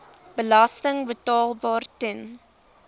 belasting betaalbaar ten